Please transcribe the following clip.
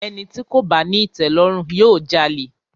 Ẹni tí kò bá ní ìtẹ̀lọ́rùn, yóò jalè.